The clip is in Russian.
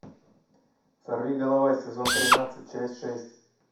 сорви голова сезон тринадцать часть шесть